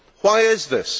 Why is this?